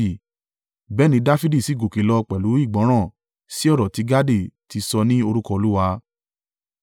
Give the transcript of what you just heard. Bẹ́ẹ̀ ni Dafidi sì gòkè lọ pẹ̀lú ìgbọ́ràn sí ọ̀rọ̀ tí Gadi ti sọ ní orúkọ Olúwa.